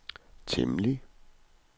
temmelig